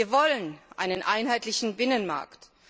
Wir wollen einen einheitlichen Binnenmarkt.